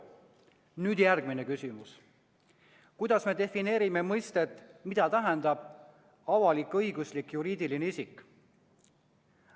Nüüd, järgmine küsimus: kuidas me defineerime mõistet "avalik-õiguslik juriidiline isik"?